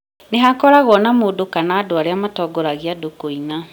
ni hakoragwo na mũndũ kana andũ arĩa matongoragia andũ kũina